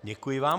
Děkuji vám.